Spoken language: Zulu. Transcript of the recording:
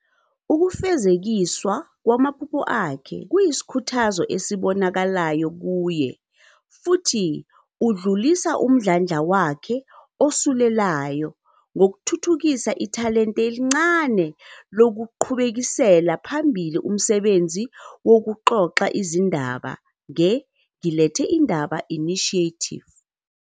Ukufezekiswa kwamaphupho akhe kuyisikhuthazo esibonakalayo kuye futhi udlulisa umdlandla wakhe osulelayo ngokuthuthukisa ithalente elincane lokuqhubekisela phambili umsebenzi wokuxoxa izindaba nge ]," Ngilethele indaba ", Initiative.